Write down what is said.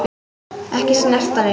Ekki snerta mig.